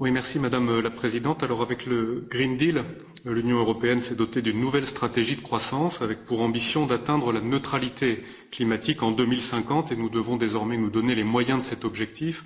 Madame la Présidente, avec le pacte vert pour l'Europe, l'Union européenne s'est dotée d'une nouvelle stratégie de croissance, avec pour ambition d'atteindre la neutralité climatique en 2050 et nous devons désormais nous donner les moyens de cet objectif.